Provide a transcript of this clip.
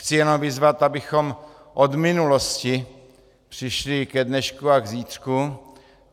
Chci jenom vyzvat, abychom od minulosti přešli k dnešku a k zítřku.